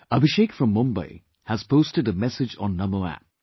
Abhishek from Mumbai has posted a message on NAMO App